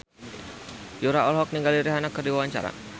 Yura olohok ningali Rihanna keur diwawancara